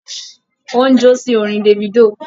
Ó ń jó sí orin Davido